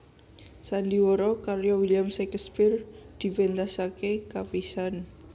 Sandiwara karya William Shakespeare dipentasake kapisan